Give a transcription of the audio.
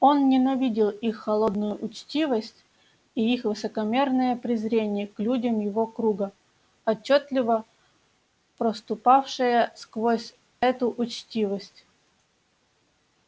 он ненавидел их холодную учтивость и их высокомерное презрение к людям его круга отчётливо проступавшее сквозь эту учтивость